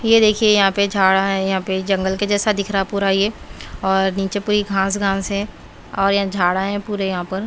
ये देखिए यहाँ पे झाड़ा है यहाँ पे जंगल के जैसा दिख रहा है पूरा ये और नीचे पूरी घास-घास है और ये झाड़ा है पूरे यहाँ पर।